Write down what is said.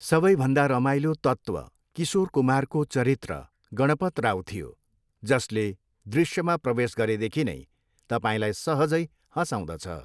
सबैभन्दा रमाइलो तत्त्व किशोर कुमारको चरित्र, गणपत राव थियो, जसले दृश्यमा प्रवेश गरेदेखि नै तपाईँलाई सहजै हँसाउँदछ।